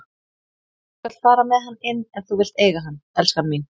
Þú skalt fara með hann inn ef þú vilt eiga hann, elskan mín.